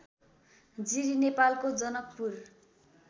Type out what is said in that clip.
जिरी नेपालको जनकपुर